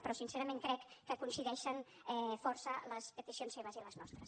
però sincerament crec que coincideixen força les peticions seves i les nostres